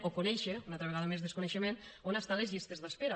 o conèixer una altra vegada més desconeixement on estan les llistes d’espera